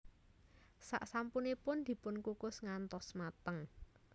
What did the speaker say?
Sak sampunipun dipunkukus ngantos mateng